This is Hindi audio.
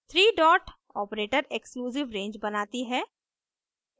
three dot operator exclusive range बनाती है